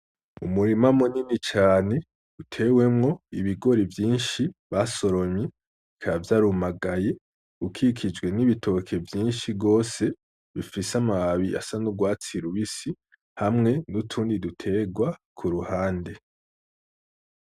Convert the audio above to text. Umurima munini cane utewemwo ibigori vyinshi basoromye bikaba vyarumagaye ukikijwe n'ibitoke vyinshi gose bifise amababi asa n'urwatsi rubisi hamwe nutundi duterwa kuruhande.